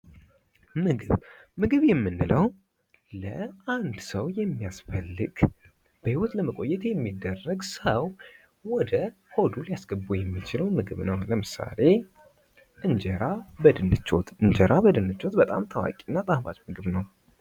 ምግብ:- ምግብ የምንለዉ ለአንድ ሰዉ የሚያስፈልግ በህይወት ለመቆየት የሚደረግ ሰዉ ወደ ሆዱ ሊያስገባዉ የሚችለዉ ምግብ ነዉ። ለምሳሌ እንጀራ በድንች ወጥ እንጀራ በድንች ወጥ በጣም ታዋቂ እና ጣፋጭ ምግብ ነዉ።